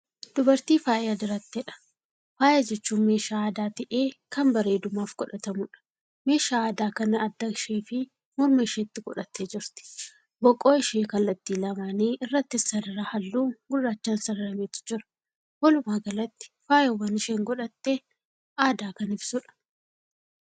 Dubartii faaya diratteedha. Faaya jechuun meeshaa aadaa ta'ee Kan bareedumaaf godhatamuudha. Meeshaa aadaa kana adda isheefi morma isheetti godhattee jirti. Boqoo ishee kallattii lamaanii irrattis sarara halluu gurraachaan sararametu jira. Walumaagalatti faayawwan isheen godhatte aadaa Kan ibsuudha.